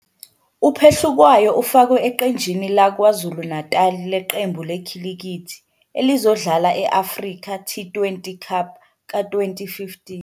UPhehlukwayo ufakwe eqenjini laKwaZulu-Natal leqembu lekhilikithi elizodlala e-Africa T20 Cup ka-2015.